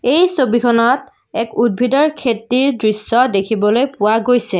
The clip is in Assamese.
এই ছবিখনত এক উদ্ভিদৰ খেতিৰ দৃশ্য দেখিবলৈ পোৱা গৈছে।